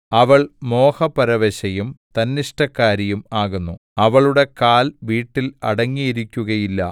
അവൾ മോഹപരവശയും തന്നിഷ്ടക്കാരിയും ആകുന്നു അവളുടെ കാൽ വീട്ടിൽ അടങ്ങിയിരിക്കുകയില്ല